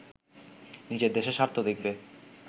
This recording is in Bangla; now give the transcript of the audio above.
নিজের দেশের স্বার্থ দেখবে